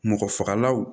Mɔgɔ fagalaw